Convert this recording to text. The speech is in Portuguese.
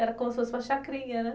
Era como se fosse uma chacrinha, né?